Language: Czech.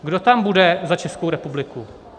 Kdo tam bude za Českou republiku?